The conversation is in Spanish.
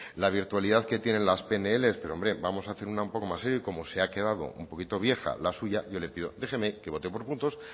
la virtualidad que tienen las pnl pero hombre vamos a hacer una un poco más seria y como se ha quedado un poquito vieja la suya yo le pido déjeme que bote por puntos